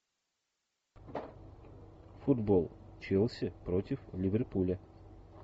футбол челси против ливерпуля